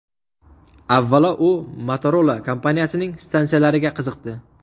Avvalo, u Motorola kompaniyasining stansiyalariga qiziqdi.